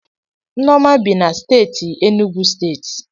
Nneoma bi na steeti Enugwu steeti